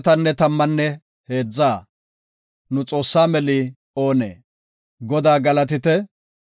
Godaa galatite; hinteno, Godaa aylleto, Godaa sunthaa galatite.